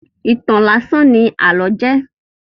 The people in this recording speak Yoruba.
Ìtàn láásán ní àlọ́ jẹ́.